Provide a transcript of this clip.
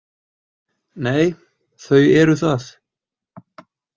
Nei, þau eru það.